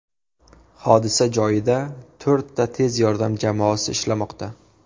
Hodisa joyida to‘rtta tez yordam jamoasi ishlamoqda.